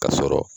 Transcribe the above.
Ka sɔrɔ